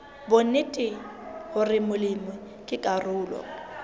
bonnete hore molemi ke karolo